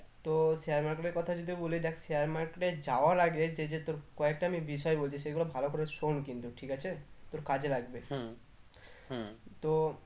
তো share market এর কথা যদি বলি দেখ share market এ যাওয়ার আগে যে যে তোর কয়েকটা আমি বিষয় বলছি সেগুলো ভালো করে শোন কিন্তু ঠিক আছে তোর কাজে লাগবে তো